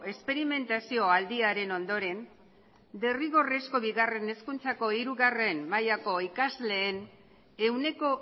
esperimentazio aldiaren ondoren derrigorrezko bigarren hezkuntzaren hirugarren mailako ikasleen ehuneko